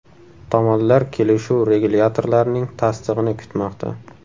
Tomonlar kelishuv regulyatorlarning tasdig‘ini kutmoqda.